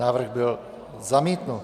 Návrh byl zamítnut.